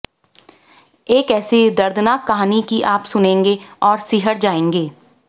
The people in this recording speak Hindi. एक ऐसी दर्दनाक कहानी कि आप सुनेंगे तो सिहर जाएंगे